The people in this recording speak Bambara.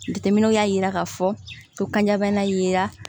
Jateminɛw y'a jira k'a fɔ ko kanjabana yera